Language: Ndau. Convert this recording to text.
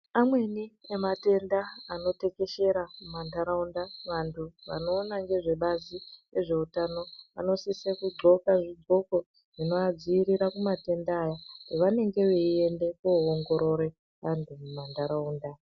Amweni ematenda anotekeshera mumantaraunda vantu vanoona ngezvebazi rezveutano vanosise kudhloka zvidhloko zvinoadziirira kumatenda aya avanenge veienda koongorore antu muntaraunda.